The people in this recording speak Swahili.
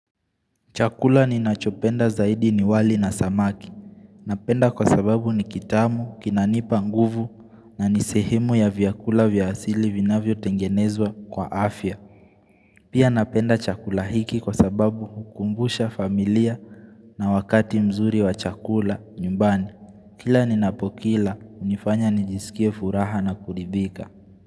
Chakula ninachopenda zaidi ni wali na samaki. Napenda kwa sababu ni kitamu, kinanipa nguvu na ni sehemu ya vyakula vya asili vinavyotengenezwa kwa afya. Pia napenda chakula hiki kwa sababu hukumbusha familia na wakati mzuri wa chakula nyumbani. Kila ninapokila, hunifanya nijisikie furaha na kuridhika.